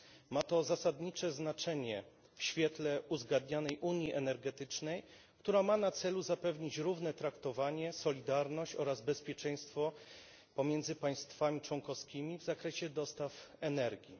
Ma to zasadnicze znaczenie w świetle uzgadnianej unii energetycznej, której celem jest zapewnienie równego traktowania, solidarności oraz bezpieczeństwa pomiędzy państwami członkowskimi w zakresie dostaw energii.